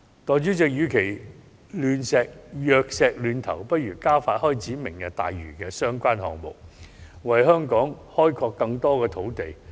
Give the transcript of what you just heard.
代理主席，與其藥石亂投，不如加快開展"明日大嶼"的相關項目，為香港開拓更多土地。